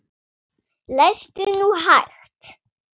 Lestu nú hægt!